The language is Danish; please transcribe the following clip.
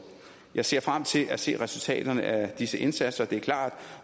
jeg ser frem til at se resultaterne af disse indsatser det er klart